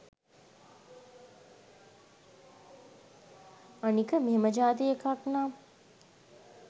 අනික මෙහෙම ජාතියෙ එකක්නම්